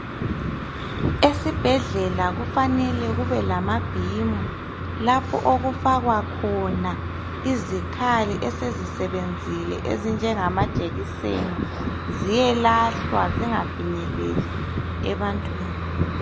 Esibhedlela kufanele kube lalamabhimu lapho okufakwa khona izikhali esezisebenzile ezinjengama jekiseni ziyelahlwa zingafinyeleli ebantwini